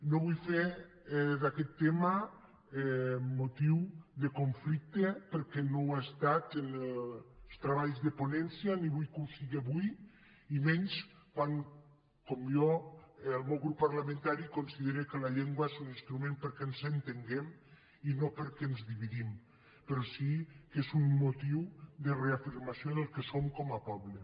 no vull fer d’aquest tema motiu de conflicte perquè no ho ha estat en els treballs de ponència ni vull que ho siga avui i menys quan com jo el meu grup parlamentari considera que la llengua és un instrument perquè ens entenguem i no perquè ens dividim però sí que és un motiu de reafirmació del que som com a poble